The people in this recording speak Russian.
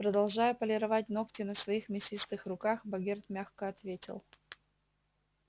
продолжая полировать ногти на своих мясистых руках богерт мягко ответил